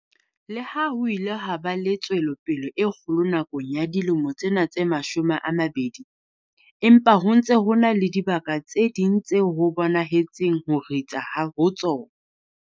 Le ha ho ile ha ba le tswelopele e kgolo nakong ya dilemo tsena tse mashome a mabedi, empa ho ntse ho na le dibaka tse ding tseo ho bonahetseng ho ritsa ho tsona.